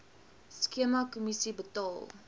skema kommissie betaal